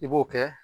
I b'o kɛ